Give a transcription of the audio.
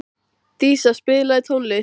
Dísa, spilaðu tónlist.